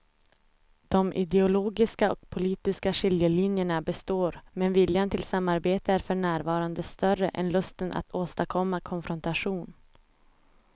De ideologiska och politiska skiljelinjerna består men viljan till samarbete är för närvarande större än lusten att åstadkomma konfrontation.